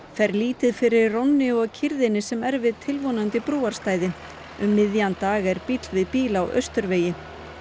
fer lítið fyrir rónni og kyrrðinni sem er við tilvonandi brúarstæði um miðjan dag er bíll við bíl á Austurvegi